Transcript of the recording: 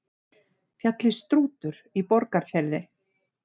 Fjallið Strútur í Borgarfirði.